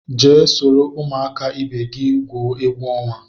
Jee soro ụmụaka ibe gị gwuo egwu ọnwa!